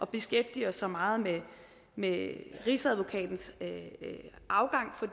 beskæftige os så meget med med rigsadvokatens afgang for